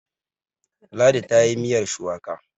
Ladi ta yi miyar shuwaka